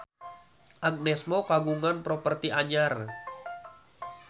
Agnes Mo kagungan properti anyar